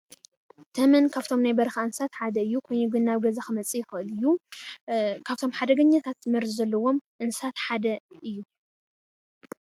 ተመን ካብቶም ናይ በረኻ እንስሳት ሓደ እዩ፡፡ ኮይኑ ግን ናብ ገዛ ክመፅእ ይኽእል እዩ፡፡ ከብቶም ሓደገኛታት መርዚ ዘለዎም እንስሳት ሓደ እዩ፡፡